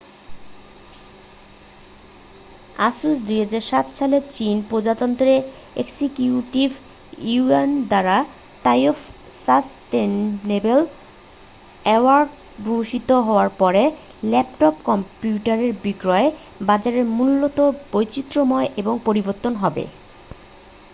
asus 2007 সালে চীন প্রজাতন্ত্রের এক্সিকিউটিভ ইউয়ান দ্বারা তাইওয়ান সাসটেইনেবল অ্যাওয়ার্ডে ভূষিত হওয়ার পরে ল্যাপটপ কম্পিউটারের বিক্রয়ের বাজারে মূলত বৈচিত্রময় এবং পরিবর্তিত হবে